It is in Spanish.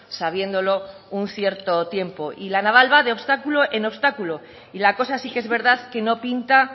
sabiéndolo un cierto tiempo y la naval va de obstáculo en obstáculo y la cosa sí que es verdad que no pinta